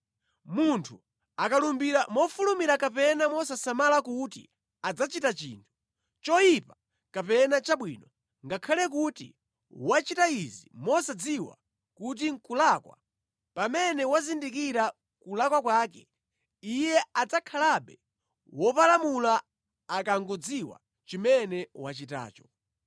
“ ‘Munthu akalumbira mofulumira kapena mosasamala kuti adzachita chinthu, choyipa kapena chabwino, ngakhale kuti wachita izi mosadziwa kuti nʼkulakwa, pamene wazindira kulakwa kwake, iye adzakhalabe wopalamula akangodziwa chimene wachitacho.